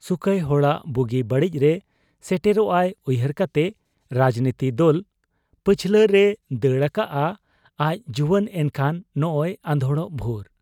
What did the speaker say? ᱥᱩᱠᱟᱭ, ᱦᱚᱲᱟᱜ ᱵᱩᱜᱤ ᱵᱟᱹᱲᱤᱡᱨᱮ ᱥᱮᱴᱮᱨᱚᱜ ᱟᱭ ᱩᱭᱦᱟᱹᱨ ᱠᱟᱛᱮ ᱨᱟᱡᱽᱱᱤᱛᱤ ᱫᱚᱞ ᱯᱟᱹᱪᱷᱞᱟᱹ ᱨᱮᱭ ᱫᱟᱹᱲ ᱟᱠᱟᱜ ᱟ ᱟᱡ ᱡᱩᱣᱟᱹᱱ ᱮᱱᱠᱷᱟᱱ ᱱᱚᱸᱜᱻᱚᱭ ᱟᱫᱷᱚᱲᱚᱜ ᱵᱷᱩᱨ ᱾